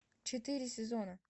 четыре сезона